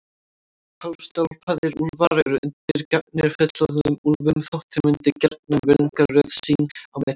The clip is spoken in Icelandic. Hálfstálpaðir úlfar eru undirgefnir fullorðnum úlfum þótt þeir myndi gjarnan virðingarröð sín á milli.